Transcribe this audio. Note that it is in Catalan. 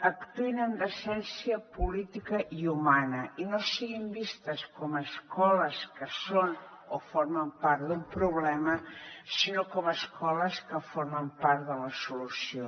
actuïn amb decència política i humana i no siguin vistes com a escoles que són o formen part d’un problema sinó com a escoles que formen part de la solució